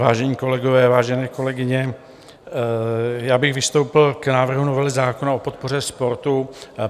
Vážení kolegové, vážené kolegyně, já bych vystoupil k návrhu novely zákona o podpoře sportu.